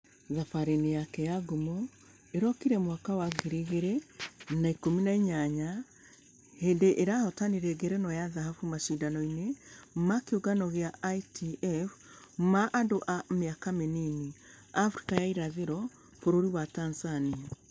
....thabarĩ-inĩ yake ya ngumo ĩrokire mwaka wa ngiri igĩrĩ na ikũmi na inyanya hĩndĩ arahotanire ngerenwa ya dhahabu mashidano-inĩ ma kĩũngano gĩa ITF ma andũ a mĩaka mĩnini africa ya irathĩro bũrũri wa tanzania.